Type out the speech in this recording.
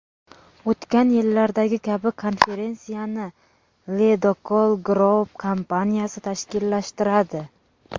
O‘tgan yillardagi kabi, konferensiyani Ledokol Group kompaniyasi tashkillashtiradi.